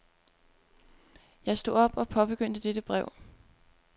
Jeg stod op og påbegyndte dette brev.